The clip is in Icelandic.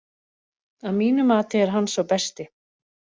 Að mínu mati er hann sá besti.